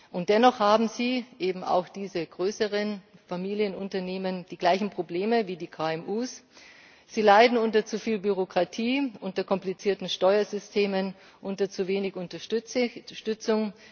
Und dennoch haben eben auch diese größeren Familienunternehmen die gleichen Probleme wie die KMU Sie leiden unter zu viel Bürokratie, unter komplizierten Steuersystemen, unter zu wenig Unterstützung.